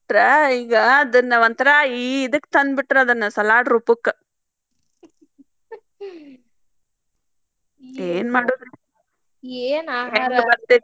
ಇಟ್ರ ಈಗ ಅದನ್ನ ಒಂಥರಾ ಈ ಇದಕ್ಕ್ ತಂಡಬಿಟ್ರ ಅದನ್ನ salad ರೂಪಕ್ಕ್ ಏನ್ ಮಾಡುದ್ರಿ? ಹೆಂಗ್ ಬರ್ತೇತಿ.